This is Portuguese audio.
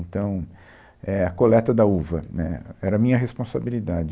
Então, é, a coleta da uva, né, era a minha responsabilidade.